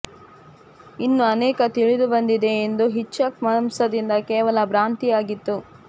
ಇದು ಅನೇಕ ತಿಳಿದುಬಂದಿದೆ ಮತ್ತು ಹಿಚ್ಕಾಕ್ ಮಾಂಸದಿಂದ ಕೇವಲ ಭ್ರಾಂತಿ ಆಗಿತ್ತು